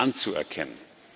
anzuerkennen.